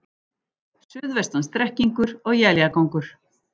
Suðvestan strekkingur og éljagangur